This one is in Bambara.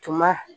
Tuma